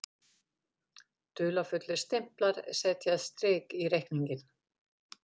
Dularfullir stimplar setja strik í reikninginn